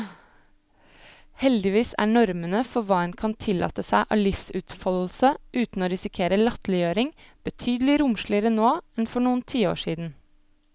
Heldigvis er normene for hva en kan tillate seg av livsutfoldelse uten å risikere latterliggjøring, betydelig romsligere nå enn for noen tiår siden.